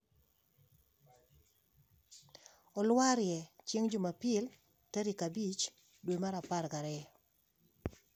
Olwarie chieng jumapil tarik abich dwe mar apar gi ariyo